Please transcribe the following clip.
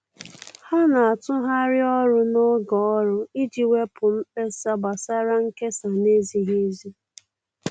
Ha na-atụgharị ọrụ n'oge ọrụ iji wepụ mkpesa gbasara nkesa na-ezighi ezi.